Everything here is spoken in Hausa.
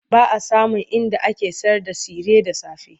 Ba a samun inda ake sayarda tsire da safe.